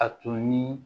A tun ni